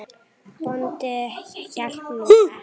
Bóndi hélt nú ekki.